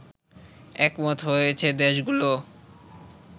একমত হয়েছে দেশগুলো